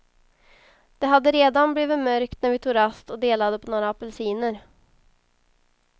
Det hade redan blivit mörkt när vi tog rast och delade på några apelsiner.